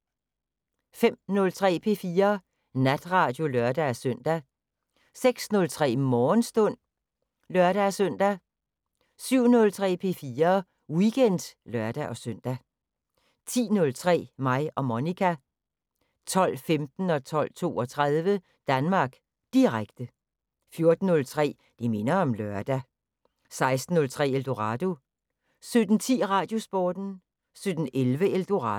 05:03: P4 Natradio (lør-søn) 06:03: Morgenstund (lør-søn) 07:03: P4 Weekend (lør-søn) 10:03: Mig og Monica 12:15: Danmark Direkte 12:32: Danmark Direkte 14:03: Det minder om lørdag 16:03: Eldorado 17:10: Radiosporten 17:11: Eldorado